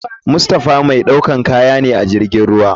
Mustaoha mai ɗaukan katya ne ajirgin ruwa.